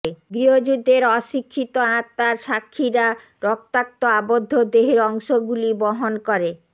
গৃহযুদ্ধের অশিক্ষিত আত্মার সাক্ষিরা রক্তাক্ত আবদ্ধ দেহের অংশগুলি বহন করে